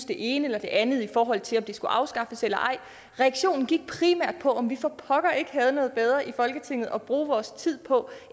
det ene eller det andet i forhold til om det skulle afskaffes eller ej reaktionen gik primært på om vi for pokker ikke havde noget bedre i folketinget at bruge vores tid på